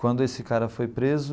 Quando esse cara foi preso,